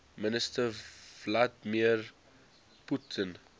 minister vladimir putin